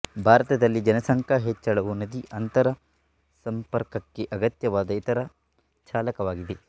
ಭಾರತದಲ್ಲಿ ಜನಸಂಖ್ಯಾ ಹೆಚ್ಚಳವು ನದಿ ಅಂತರಸಂಪರ್ಕಕ್ಕೆ ಅಗತ್ಯವಾದ ಇತರ ಚಾಲಕವಾಗಿದೆ